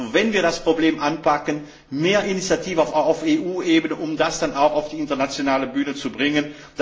Wir müssen also das Problem anpacken, mehr Initiative auf EU Ebene zeigen, um das dann auch auf die internationale Bühne zu bringen.